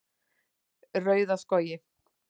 Rauðaskógi